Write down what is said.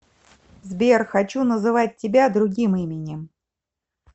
сбер хочу называть тебя другим именем